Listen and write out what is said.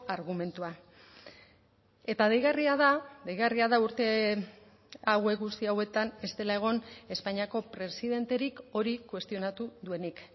argumentua eta deigarria da deigarria da urte hauek guzti hauetan ez dela egon espainiako presidenterik hori kuestionatu duenik